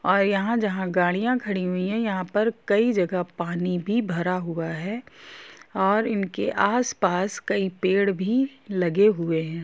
और यहाँ जहाँ गाड़ियां खड़ी हुई है यहाँ पर कई जगह पानी भी भरा हुआ है और इनके आसपास कई पेड़ भी लगे हुए है।